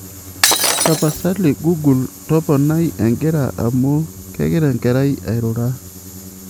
tapasali google toponai egira amuu kegira enkerai airura